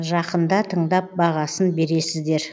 жақында тыңдап бағасын бересіздер